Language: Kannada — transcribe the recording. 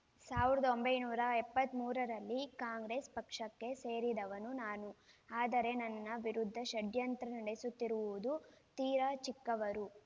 ಸಾವಿರದ ಒಂಬೈನೂರ ಎಪ್ಪತ್ತ್ ಮೂರರಲ್ಲಿ ಕಾಂಗ್ರೆಸ್‌ ಪಕ್ಷಕ್ಕೆ ಸೇರಿದವನು ನಾನು ಆದರೆ ನನ್ನ ವಿರುದ್ಧ ಷಡ್ಯಂತ್ರ ನಡೆಸುತ್ತಿರುವುದು ತೀರಾ ಚಿಕ್ಕವರು